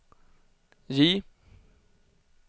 J